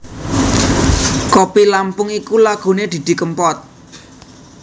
Kopi Lampung iku lagune Didi Kempot